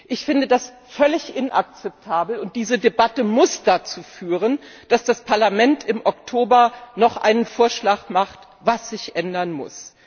Ich finde das völlig inakzeptabel, und diese Debatte muss dazu führen, dass das Parlament im Oktober noch einen Vorschlag macht, was sich ändern muss.